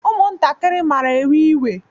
Ụmụntakịrị mara ewe-iwe.